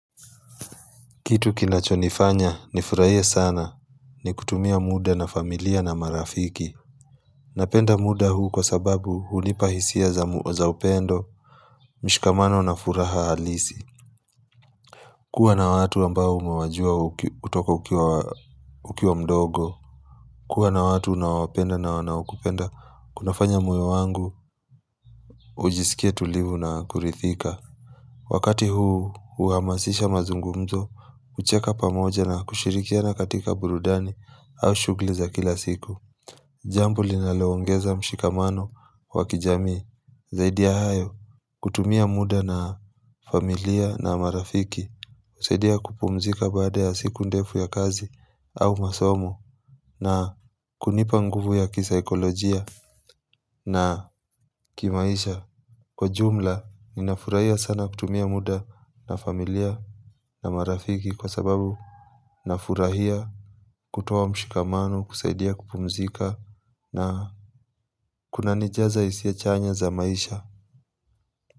Kitu kinachonifanya ni furahie sana ni kutumia muda na familia na marafiki. Napenda muda huu kwa sababu hunipa hisia za upendo, mishikamano na furaha halisi. Kuwa na watu ambao umewajua kutoka ukiwa mdogo. Kuwa na watu unaowapenda na wanaokupenda, kunafanya moyo wangu, ujisikie tulivu na kuridhika. Wakati huu huhamasisha mazungumzo, kucheka pamoja na kushirikiana katika burudani au shughuli za kila siku Jambo linaloongeza mshikamano wa kijami Zaidi ya hayo kutumia muda na familia na marafiki husaidia kupumzika baada ya siku ndefu ya kazi au masomo na kunipa nguvu ya kisakolojia na kimaisha Kwa jumla, ninafurahia sana kutumia muda na familia na marafiki kwa sababu nafurahia kutoa mshikamano, kusaidia kupumzika na kunanijaza hisia chanya za maisha.